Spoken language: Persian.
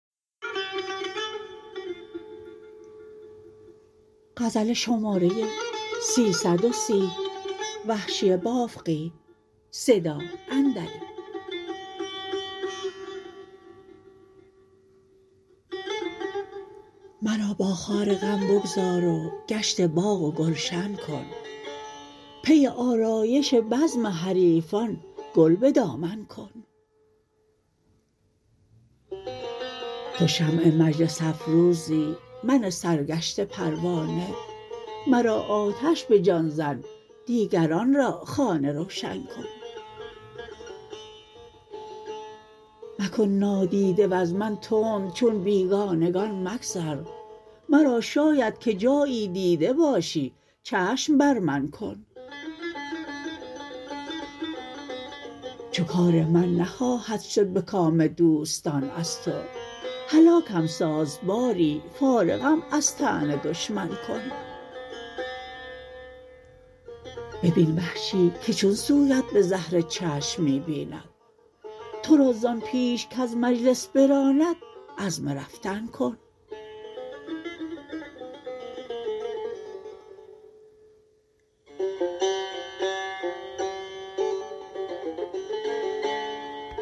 مرا با خار غم بگذار و گشت باغ و گلشن کن پی آرایش بزم حریفان گل به دامن کن تو شمع مجلس افروزی من سرگشته پروانه مرا آتش به جان زن دیگران را خانه روشن کن مکن نادیده وز من تند چون بیگانگان مگذر مرا شاید که جایی دیده باشی چشم بر من کن چو کار من نخواهد شد به کام دوستان از تو هلاکم ساز باری فارغم از طعن دشمن کن ببین وحشی که چون سویت به زهر چشم می بیند ترا زان پیش کز مجلس براند عزم رفتن کن